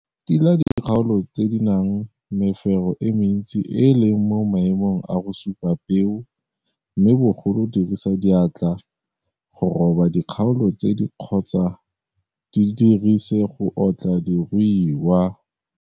Tila dikgaolo tse di nang mefero e mentsi e e leng mo maemong a go supa peo mme bogolo dirisa diatla go roba dikgaolo tse kgotsa di dirise go otla diruiwa.